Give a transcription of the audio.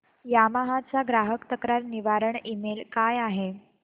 Yamaha चा ग्राहक तक्रार निवारण ईमेल काय आहे